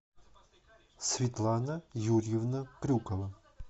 светлана юрьевна крюкова